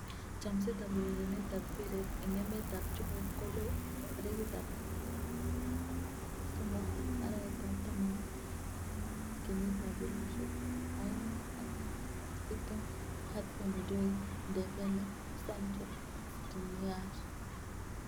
Chomset ab urerenet ab mbiret eng emet ab chumbek kolo 03.10.2020: Hudson-Odoi, Dembele, Sancho, Skriniar